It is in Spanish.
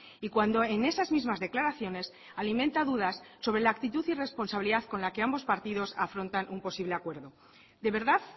y cuando en esas mismas declaraciones alimenta dudas sobre la actitud y responsabilidad con la que ambos partidos afrontan un posible acuerdo de verdad